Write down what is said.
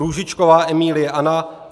Růžičková Emílie Anna